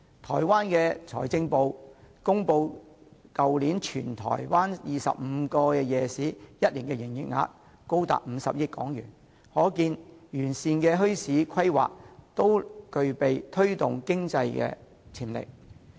台灣財政部公布全台灣25個夜市去年全年的營業額高達50億港元，可見完善的墟市規劃具備推動經濟的潛力。